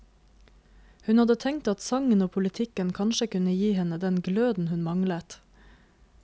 Hun hadde tenkt at sangen og politikken kanskje kunne gi henne den gløden hun manglet.